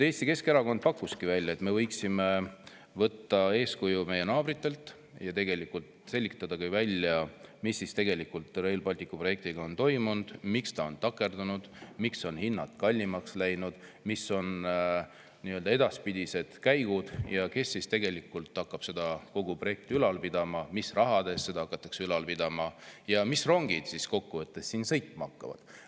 Eesti Keskerakond pakkus välja, et me võiksime võtta eeskuju meie naabritelt ja selgitada välja, mis tegelikult Rail Balticu projektiga on toimunud, miks see on takerdunud, miks on hinnad kallimaks läinud, mis on edaspidised käigud, kes tegelikult hakkab kogu seda projekti ülal pidama, mis raha eest seda hakatakse ülal pidama ja mis rongid seal sõitma hakkavad.